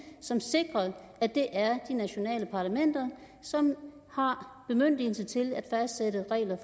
som sikrer at det er de nationale parlamenter som har bemyndigelse til at fastsætte regler